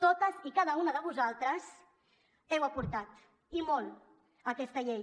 totes i cada una de vosaltres heu aportat i molt a aquesta llei